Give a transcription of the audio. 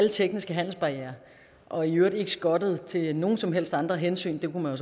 alle tekniske handelsbarrierer og i øvrigt ikke skottet til nogen som helst andre hensyn det kunne man